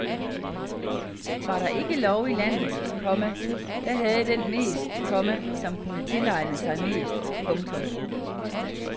Var der ikke lov i landet, komma da havde den mest, komma som kunne tilegne sig mest. punktum